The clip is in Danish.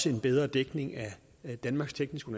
en bedre dækning af danmarks tekniske